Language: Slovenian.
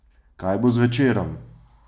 Kaj bo z Večerom?